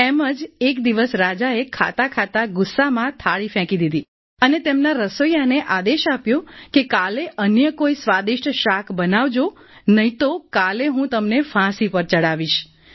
એમ જ એક દિવસ રાજાએ ખાતા ખાતા ગુસ્સામાં થાળી ફેંકી દીધી અને તેમના રસોઈયાને આદેશ આપ્યો કે કાલે અન્ય કોઈ સ્વાદિસ્ટ શાક બનાવજો અથવા તો કાલે હું તને ફાંસી પર ચડાવી દઈશ